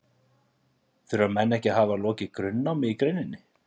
þurfa menn ekki að hafa lokið grunnnámi í greininni